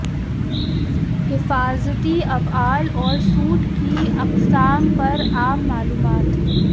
حفاظتی افعال اور سوٹ کی اقسام پر عام معلومات